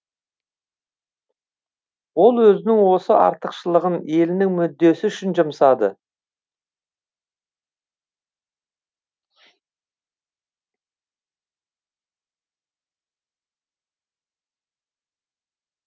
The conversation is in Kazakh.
ол өзінің осы артықшылығын елінің мүддесі үшін жұмсады